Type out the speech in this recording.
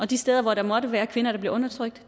de steder hvor der måtte være kvinder der bliver undertrykt